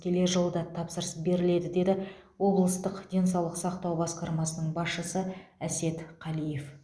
келер жылы да тапсырыс беріледі деді облыстық денсаулық сақтау басқармасының басшысы әсет қалиев